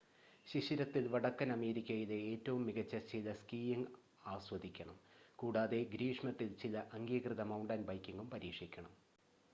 ശിശിരത്തിൽ വടക്കൻ അമേരിക്കയിലെ ഏറ്റവും മികച്ച ചില സ്കീയിംഗ് ആസ്വദിക്കണം കൂടാതെ ഗ്രീഷ്മത്തിൽ ചില അംഗീകൃത മൌണ്ടൻ ബൈക്കിംഗും പരീക്ഷിക്കണം